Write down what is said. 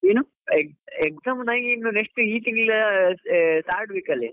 ಏನು exam ಇನ್ನು next ಈ ತಿಂಗ್ಳು third week ಅಲ್ಲಿ.